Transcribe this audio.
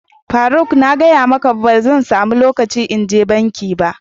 faruk, na gaya maka ba zan samu locaci in je banki ba.